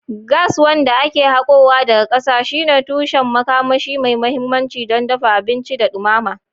Gas, wanda ake hakowa daga ƙasa, shine tushen makamashi mai mahimmanci don dafa abinci da dumama.